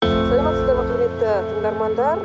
саламатсыздар ма құрметті тыңдармандар